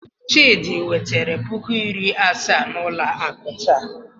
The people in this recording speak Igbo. Chidi wetere puku iri asaa n'ụlọ akụ taa.